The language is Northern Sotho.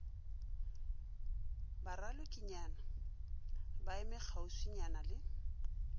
baralokikayena ba eme kgauswinyana le